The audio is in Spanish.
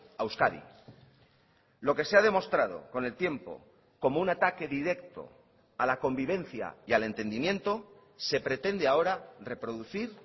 a euskadi lo que se ha demostrado con el tiempo como un ataque directo a la convivencia y al entendimiento se pretende ahora reproducir